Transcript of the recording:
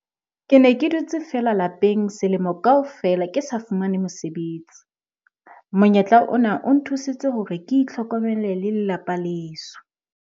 "Ke ne ke dutse feela lapeng selemo kaofela ke sa fumane mosebetsi. Monyetla ona o nthusitse hore ke itlhokomele le lelapa la heso."